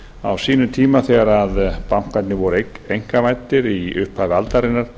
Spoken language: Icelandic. á sínum tíma þegar bankarnir voru einkavæddir í upphafi aldarinnar